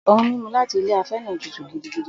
Ohun-mímu láti ilé afẹ́ náà tútù gidigidi.